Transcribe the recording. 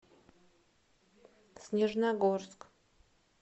снежногорск